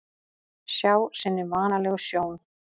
Sjá sinni vanalegu sjón.